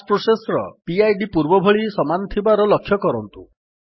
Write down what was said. bash process ର PID ପୂର୍ବଭଳି ସମାନ ଥିବାର ଲକ୍ଷ୍ୟ କରନ୍ତୁ